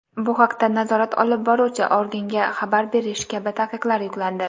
bu haqda nazorat olib boruvchi organga xabar berish kabi taqiqlar yuklandi.